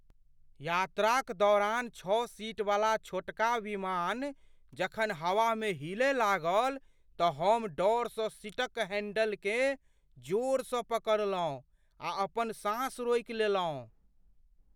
यात्राक दौरान छओ सीटवला छोटका विमान जखन हवामे हिलय लागल तँ हम डरसँ सीटक हैंडलकेँ जोरसँ पकड़लहुँ आ अपन साँस रोकि लेलहुँ।